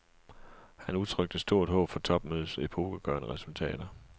Han udtrykte stort håb for topmødets epokegørende resultater.